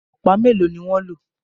Ọ̀pá melo ní wan ló